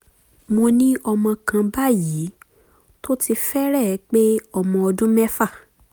mo ní ọmọ kan báyìí tó ti fẹ́rẹ̀ẹ́ pé ọmọ ọdún mẹ́fà